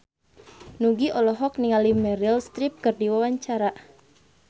Nugie olohok ningali Meryl Streep keur diwawancara